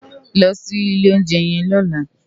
Lò si ilé óunjè yèn lòlá